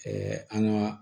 an ka